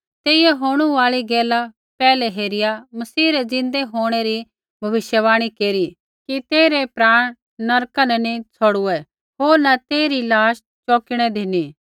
तेइयै होणू आल़ी गैल पैहलै हेरिया मसीह रै ज़िन्दै होंणै री भविष्यवाणी केरी कि तेइरै प्राण नरका न नी छ़ौड़ुऐ होर न तेइरी लाश चौकिणै धिनी